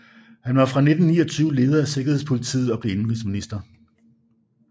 Han var fra 1929 leder af sikkerhedspolitiet og blev indenrigsminister